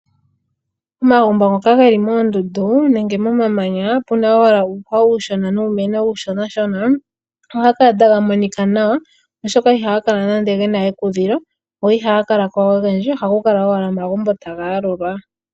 Omagumbo ngoka geli moondundu nenge moma manya puna uuhwa uushona nuumeno uushona shona ohaga kala taga monika nawa oshoka ihaga kala nande gena ekudhilo go ihaga kala ko ogendji ohaga kala owala omaambo taga yalulwa.